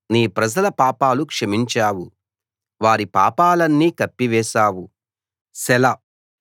నీ ప్రజల పాపాలు క్షమించావు వారి పాపాలన్నీ కప్పివేశావు సెలా